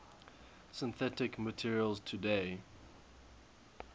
synthetic materials today